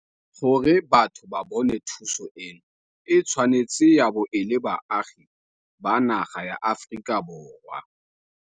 Gore batho ba bone thuso eno e tshwanetse ya bo e le baagi ba naga ya Aforika Borwa.